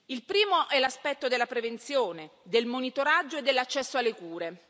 Il primo è l'aspetto della prevenzione, del monitoraggio e dell'accesso alle cure.